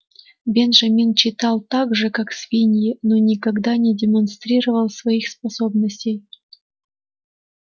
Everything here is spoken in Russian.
бенджамин читал так же как свиньи но никогда не демонстрировал своих способностей